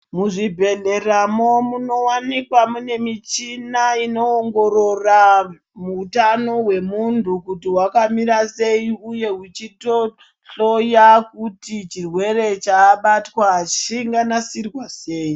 Muzvibhedhlera mwo munowanikwa mune michina inoongorora hutano hwemuntu kuti hwakamira sei uye uchitohloya kuti chirwere chabatwa chinga nasirwa sei.